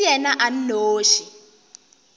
e se yena a nnoši